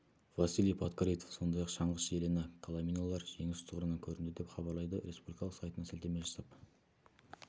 василий подкорытов сондай-ақ шаңғышы елена коломиналар жеңіс тұғырынан көрінді деп хабарлайды республикалық сайтына сілтеме жасап